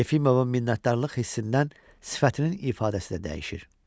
Yefimov minnətdarlıq hissindən sifətinin ifadəsi də dəyişir.